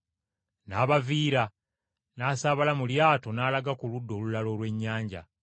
N’abaviira n’asaabala mu lyato n’alaga ku ludda olulala olw’ennyanja.